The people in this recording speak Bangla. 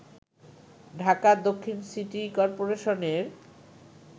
ঢাকা দক্ষিণ সিটি করপোরেশনের